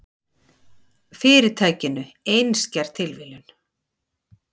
Fyrirtækinu, einskær tilviljun.